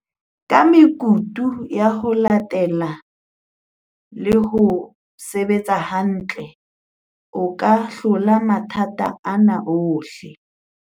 "Ka mekutu ya ho latella le ho se betsa hantle, o ka hlola matha ta ana ohle".